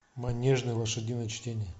манежное лошадиное чтение